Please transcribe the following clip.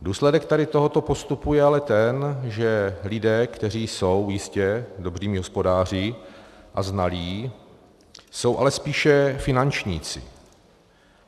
Důsledek tady tohoto postupu je ale ten, že lidé, kteří jsou jistě dobrými hospodáři a znalí, jsou ale spíše finančníci.